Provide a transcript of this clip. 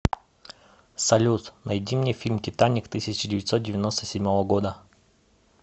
салют найди мне фильм титаник тысяча девятсот девяносто седьмого года